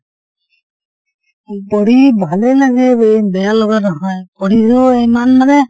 পঢ়ি ভালে লাগে, ব বেয়া লগা নহয় , পঢ়িলেও ইমান মানে